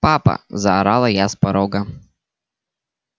папа заорала я с порога